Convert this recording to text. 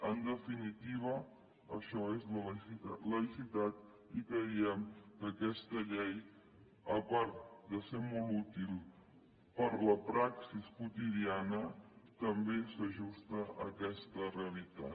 en definitiva això és la laïcitat i creiem que aquesta llei a part de ser molt útil per a la praxi quotidiana també s’ajusta a aquesta realitat